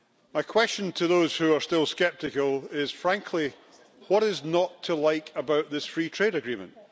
My question to those who are still sceptical is frankly, what is not to like about this free trade agreement?